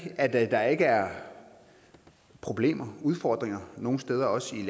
at der ikke er problemer og udfordringer nogen steder også i